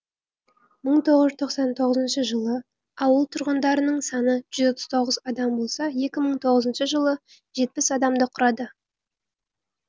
мың тоғыз жүз тоқсан тоғызыншы жылы ауыл тұрғындарының саны жүз отыз тоғыз адам болса екі мың тоғызыншы жылы жетпіс адамды құрады